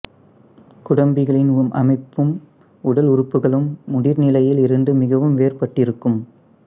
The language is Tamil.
குடம்பிகளின் அமைப்பும் உடல் உறுப்புக்களும் முதிர்நிலையில் இருந்து மிகவும் வேறுபட்டிருக்கும்